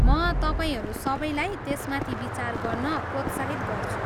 म तपाईँहरू सबैलाई त्यसमाथि विचार गर्न प्रोत्साहित गर्छु।